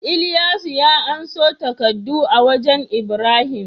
Ilyasu ya anso takaddu a wajan ibrahim